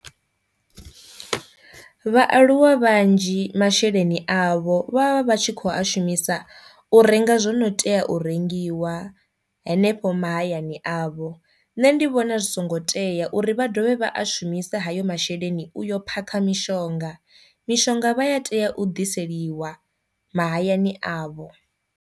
Vhaaluwa vhanzhi masheleni avho vha vha vha tshi kho a shumisa u renga zwono tea u rengiwa henefho mahayani avho, nṋe ndi vhona zwi songo tea uri vha dovhe vha a shumisa hayo masheleni uyo phakha mishonga, mishonga vha ya tea u ḓiseliwa mahayani avho.